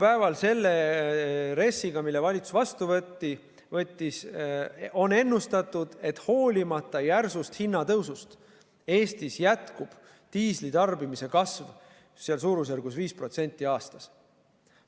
Nüüd on selle RES-iga, mille valitsus vastu võttis, ennustatud, et hoolimata järsust hinnatõusust Eestis jätkub diislikütuse tarbimise kasv suurusjärgus 5% aastas.